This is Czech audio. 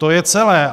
To je celé.